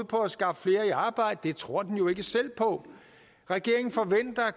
på at skaffe flere i arbejde men det tror den jo ikke selv på regeringen forventer at